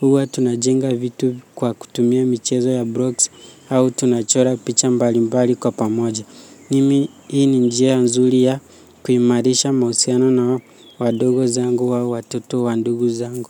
Huwa tunajenga vitu kwa kutumia michezo ya blocks au tunachora picha mbalimbali kwa pamoja. Mimi hii ni njia nzuri ya kuimarisha mahusiano na wadogo zangu au watoto wa ndugu zangu.